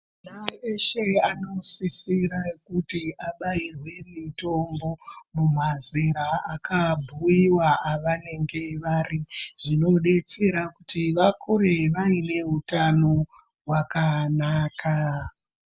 Ana eshe anosisire kuti abairwe mutombo, mumazera akabhuiwa avanenge vari. Zvinodetsera kuti vakure vaine utano hwakanaka.